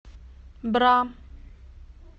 бра